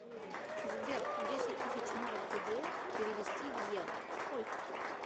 сбер десять тысяч марок гдр перевести в евро сколько